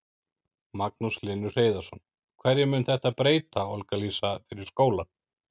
Magnús Hlynur Hreiðarsson: Hverju mun þetta breyta, Olga Lísa, fyrir skólann?